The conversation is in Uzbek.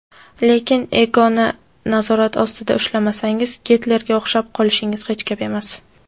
lekin "ego" ni nazorat ostida ushlamasangiz Gitlerga o‘xshab qolishingiz hech gap emas.